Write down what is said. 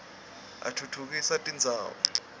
atfutfukisa tindzawo